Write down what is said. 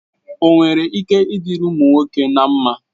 O nwere ike ịdirị ụmụ nwoke na mma?